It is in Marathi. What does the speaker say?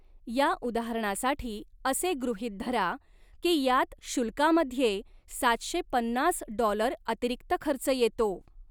या उदाहरणासाठी असे गृहीत धरा की यात शुल्कामध्ये साडे सातशे डॉलर अतिरिक्त खर्च येतो.